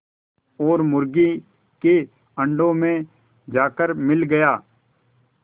और मुर्गी के अंडों में जाकर मिल गया